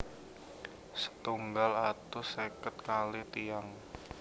setunggal atus seket kalih tiyang